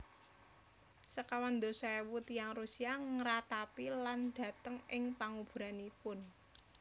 Sekawan dasa éwu tiyang Rusia ngratapi lan dhateng ing panguburanipun